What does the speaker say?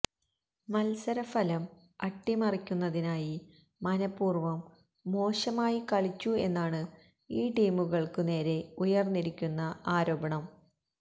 മത്സരഫലം അട്ടിമറിക്കുന്നതിനായി മനപ്പൂര്വ്വം മോശമായി കളിച്ചു എന്നാണ് ഈ ടീമുകള്ക്കു നേരെ ഉയര്ന്നിരിക്കുന്ന ആരോപണം